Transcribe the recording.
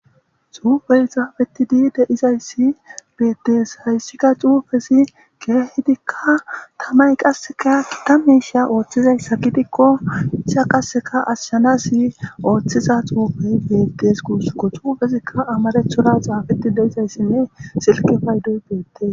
Xuufey xaafeti dii deizayssi beettes hayssika xuufesi keehidikka tamay qasseka kitamisha ooththizayssa gidikko ica qaseka ashshana si ooththiza xuufey bettes kuussuko xuufesikka amarethoda xaafeti deizayssinne silke paydoy beettes